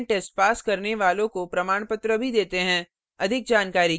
online test pass करने वालों को प्रमाणपत्र भी देते हैं